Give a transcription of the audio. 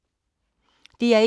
DR1